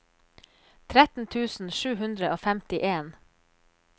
tretten tusen sju hundre og femtien